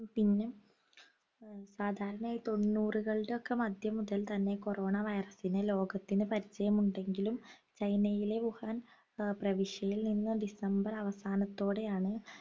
പിന്നെ സാധാരണയായി തൊണ്ണൂറുകളുടെ ഒക്കെ മധ്യം മുതൽ തന്നെ corona virus നെ ലോകത്തിന് പരിചയമുണ്ടെങ്കിലും ചൈനയിലെ വുഹാൻ ഏർ പ്രവീശിയിൽ നിന്ന് ഡിസംബർ അവസാനത്തോടെയാണ്